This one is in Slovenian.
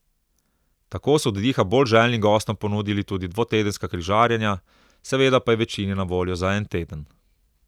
Tako so oddiha bolj željnim gostom ponudili tudi dvotedenska križarjenja, seveda pa je večini na voljo za en teden.